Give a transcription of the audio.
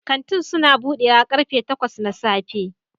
Kantin suna bude karfe takwas na safe